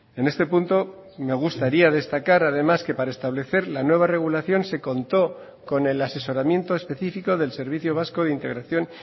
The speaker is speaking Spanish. en este punto me gustaría destacar además que para establecer la nueva regulación se contó con el asesoramiento específico del servicio vasco de integración